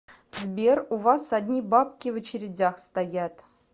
сбер у вас одни бабки в очередях стоят